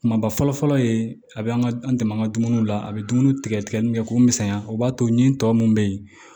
Kumaba fɔlɔ fɔlɔ ye a bɛ an ka an dɛmɛ an ka dumuniw la a bɛ dumuni tigɛ tigɛ tigɛli min kɛ k'u misɛnya o b'a to nin tɔ mun bɛ yen